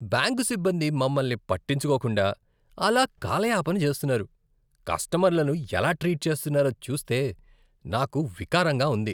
Bank సిబ్బంది మమ్మల్ని పట్టించుకోకుండా అలా కాలాయాపన చేస్తున్నారు, కస్టమర్లను ఎలా ట్రీట్ చేస్తున్నారో చూస్తే నాకు వికారంగా ఉంది.